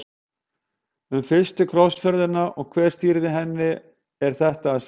Um fyrstu krossferðina og hver stýrði henni er þetta að segja.